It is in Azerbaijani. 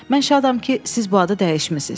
Mən şadam ki, siz bu adı dəyişmisiz.